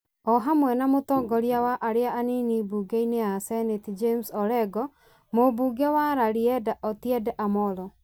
o hamwe na mũtongoria wa arĩa anini mbunge-inĩ ya seneti James Orengo, mũmbunge wa Rarieda Otiende Amollo